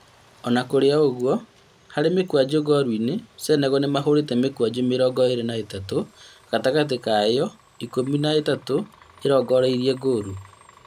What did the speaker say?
Ona kũrĩ ũguo harĩ mĩkwanjo ngolu-inĩ, Senegal nĩ mahũrĩte mĩkwanjo mĩrongo ĩrĩ na ĩtatũ, gatagatĩ ka ĩyo ikũmi na ĩtatũ ĩrongoreirie ngolu